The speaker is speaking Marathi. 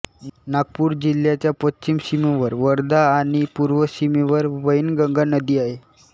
नागपूर जिल्ह्याच्या पश्चिम सीमेवर वर्धा आणि पूर्व सीमेवर वैनगंगा नदी आहे